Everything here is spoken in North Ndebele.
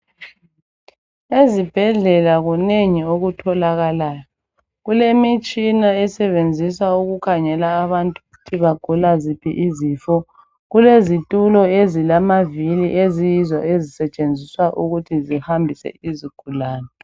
Ezibhedlela kunengi okutholakalayo. Kulemitshina esebenziswa ukukhangela abantu ukuthi bagula zipho izifo. Kulezitulo ezilamavili eziyizo ezisetshenziswa ukuthi zihambise izigulane.